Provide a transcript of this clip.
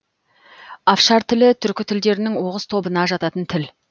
афшар тілі түркі тілдерінің оғыз тобынына жататын тіл